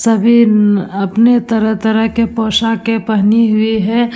सभी नन अपने तरह-तरह के पोशाके पहनी हुई है।